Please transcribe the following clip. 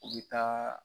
U bɛ taa